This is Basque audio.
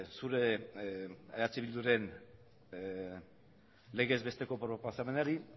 zure eh bilduren legez besteko proposamenari